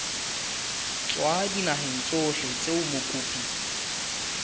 tswa dinaheng tsohle tseo mokopi